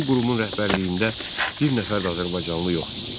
Bu qurumun rəhbərliyində bir nəfər də azərbaycanlı yox idi.